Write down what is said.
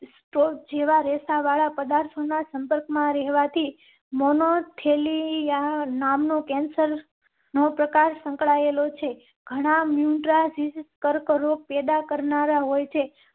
તા વાળા પદાર્થો ના સંપર્કમાં રહેવા થી મોનો થેલી યા નામનું cancer નો પ્રકાર સંકળાયેલો છે. ઘણાં મ્યુટાજિન્સ કર્કરોગ પેદા કરનારા હોય છે,